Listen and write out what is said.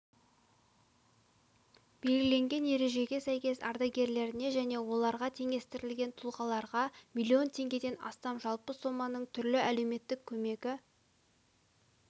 белгіленген ережеге сәйкес ардагерлеріне және оларға теңестірілген тұлғаларға миллион теңгеден астам жалпы соманың түрлі әлеуметтік көмегі